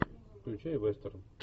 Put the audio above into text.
включай вестерн